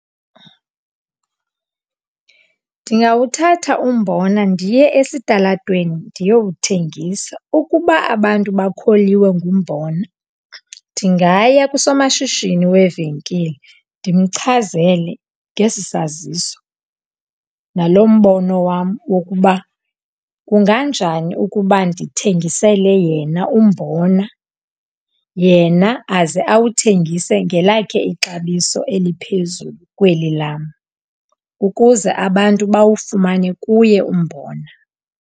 Ndingawuthatha umbona ndiye esitalatweni ndiyowuthengisa. Ukuba abantu bakholiwe ngumbona, ndingaya kusomashishini wevenkile ndimchazele ngesi saziso nalo mbono wam wokuba, kunganjani ukuba ndithengisele yena umbona. Yena aze awuthengise ngelakhe ixabiso eliphezulu kweli lam, ukuze abantu bawufumane kuye umbona.